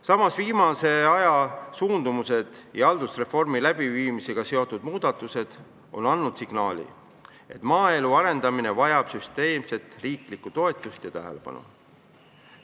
Samas, viimase aja suundumused ja haldusreformi läbiviimisega seotud muudatused on andnud signaali, et maaelu arendamine vajab süsteemset riiklikku toetust ja tähelepanu.